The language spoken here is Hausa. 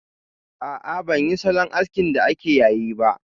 A'a, ban yi salon askin da ake yayi ba